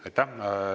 Aitäh!